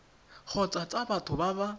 kgotsa tsa batho ba ba